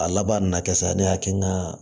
A laban na kɛ sa ne hakili n ka